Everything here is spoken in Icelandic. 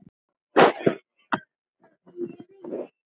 Það stendur þannig á.